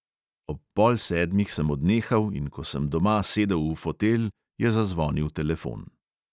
Ob pol sedmih sem odnehal, in ko sem doma sedel v fotelj, je zazvonil telefon.